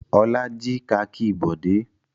Olá jí kakí Bọ̀dé?